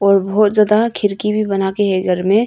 और बहौत ज्यादा खिड़की भी बना के है घर में।